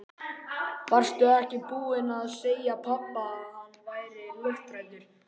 Varstu ekki búin að segja pabba að hann væri lofthræddur?